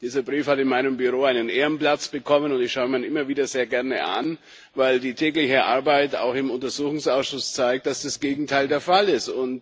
Dieser Brief hat in meinem Büro einen Ehrenplatz bekommen, und ich schaue ihn mir immer wieder sehr gerne an, weil die tägliche Arbeit auch im Untersuchungsausschuss zeigt, dass das Gegenteil der Fall ist.